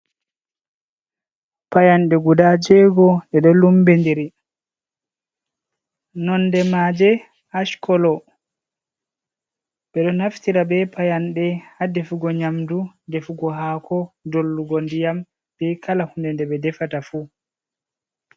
Payanɗe guda jego ɗe ɗo lumbi ndiri nonɗe maje ash kolo ɓe ɗo naftira be payanɗe ha ɗefugo nyamdu ɗefugo hako dollugo ndiyam be kala hunɗe nde ɓe ɗefata fu.